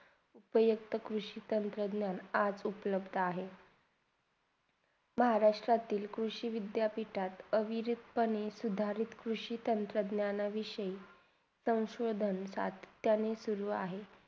पर्यंत कृषीचा संसाधण्यात आज उपलब्ध आहे. महाराष्ट्रातील कृषी विद्यापीठात अविरिध पणे सुधारित संसाधन्या विषयही संस्वधना त्यांनी सुरू आहे